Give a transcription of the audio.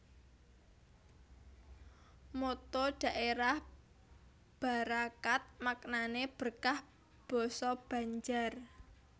Motto dhaérah Barakat maknané berkah basa Banjar